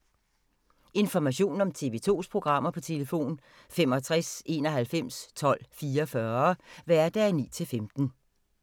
Information om TV 2's programmer: 65 91 12 44, hverdage 9-15.